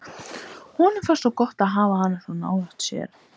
Honum finnst gott að hafa hana svona nálægt sér.